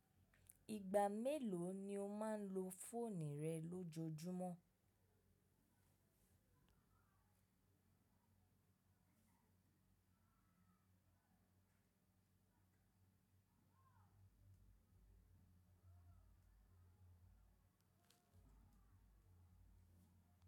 Ìgbà mélòó ni o máa ń lo fóònù rẹ lójoojúmọ́?